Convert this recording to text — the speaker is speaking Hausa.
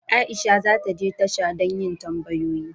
Aisha za ta je tasha don yin tambayoyi.